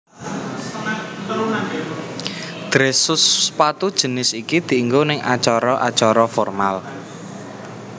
Dress Shoe sepatu jinis iki dienggo ing acara acara formal